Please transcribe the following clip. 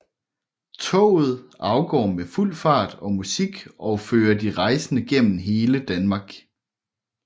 Toget afgår med fuld fart og musik og fører de rejsende gennem hele Danmark